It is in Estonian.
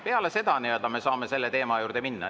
Peale seda me saame selle teema juurde minna.